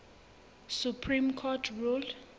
supreme court ruled